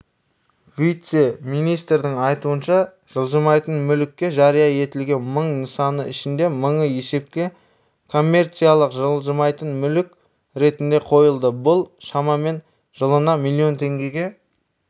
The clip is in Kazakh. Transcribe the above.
вице-министрдің айтуынша жылжымайтын мүліктің жария етілген мың нысаны ішінде мыңы есепке коммерциялық жылжымайтын мүлік ретінде қойылды бұл шамамен жылына млн теңгеге